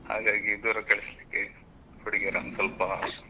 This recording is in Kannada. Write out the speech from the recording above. ಹಾಗಾಗಿ ದೂರ ಕಳಿಸ್ಲಿಕ್ಕೆ ಹುಡುಗಿಯರನ್ನು ಸ್ವಲ್ಪ.